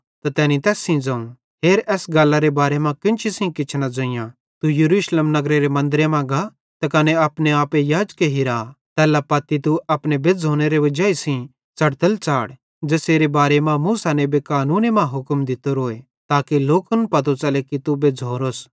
त तैनी तैस सेइं ज़ोवं हेर एसेरे बारे मां केन्ची सेइं किछ न ज़ोइयां तू यरूशलेम नगरेरे मन्दरे मां गा त कने अपने आपे याजके हिरा तैल्ला पत्ती तू अपने बेज़्झ़ोनेरे वजाई सेइं च़ढ़तल च़ाढ़ ज़ेसेरे बारे मां मूसा नेबे कानूने मां हुक्म दित्तोरोए ताके लोकन पतो च़ले कि तू बेज्झ़ोरोस